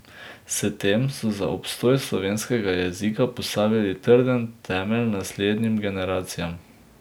S tem so za obstoj slovenskega jezika postavili trden temelj naslednjim generacijam.